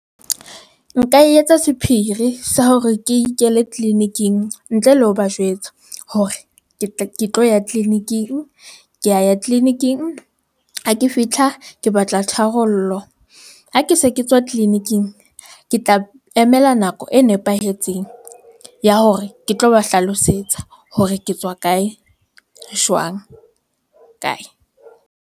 Nka etsa sephiri sa hore ke ikele clinic-ing ntle le ho ba jwetsa hore ke tlo ya ya clinic-ing ko ya clinic-ing ha ke fihla ke batla tharollo. Ha ke se ke tswa clinic-ing, ke tla emela nako e nepahetseng ya hore ke tlo ba hlalosetsa hore ke tswa kae jwang, kae.